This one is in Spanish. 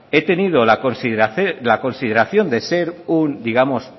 he tenido la consideración de ser un digamos